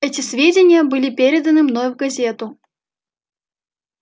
эти сведения были переданы мной в газету